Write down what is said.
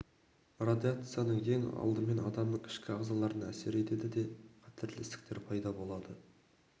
радиация ең алдымен адамның ішкі ағзаларына әсер етеді де қатерлі ісіктер пайда болады